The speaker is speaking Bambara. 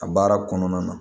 A baara kɔnɔna na